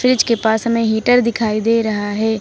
Fridge के पास हमें हीटर दिखाई दे रहा है।